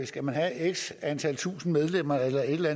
skal have x antal tusind medlemmer eller